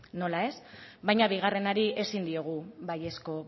nola ez baina bigarrenari ezin diogu baiezko